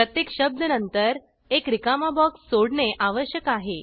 प्रत्येक शब्द नंतर एक रिकामा बॉक्स सोडणे आवश्यक आहे